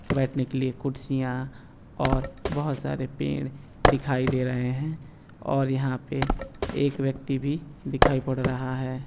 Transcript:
बैठने के लिए कुर्सियां और बहुत सारे पेड़ दिखाए दे रहे हैं और यहाँ पे एक व्यक्ति भी दिखाई पड रहा है।